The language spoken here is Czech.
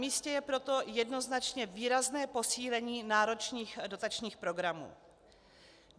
Namístě je proto jednoznačně výrazné posílení náročných dotačních programů.